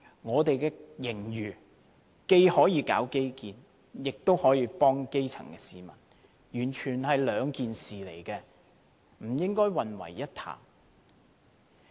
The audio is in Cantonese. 我們現在有盈餘，既可進行基建，亦可幫助基層市民，完全是兩件事，不應混為一談。